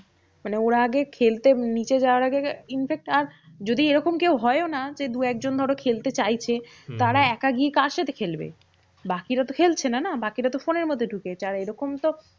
মানে ওরা আগে খেলতে নিচে যাওয়ার আগে infact আর যদি এরকম কেউ হয়োনা যে দু একজন ধরো খেলতে চাইছে। তারা একা গিয়ে কার সাথে খেলবে? বাকিরা তো খেলছে না না? বাকিরা তো ফোনের মধ্যে ঢুকে যায়। এরকম তো